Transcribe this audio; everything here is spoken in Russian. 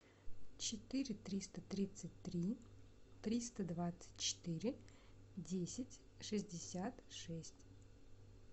четыре триста тридцать три триста двадцать четыре десять шестьдесят шесть